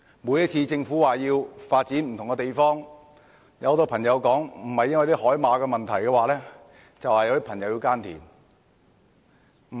每次政府說要發展不同的地方，不是有人說要保護海馬，就是有人說要耕田。